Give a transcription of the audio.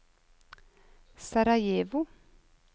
Sarajevo